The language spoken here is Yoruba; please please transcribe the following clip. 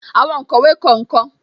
Àwọn onkowe kọ nkan